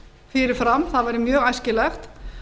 fyrir fram það væri mjög æskilegt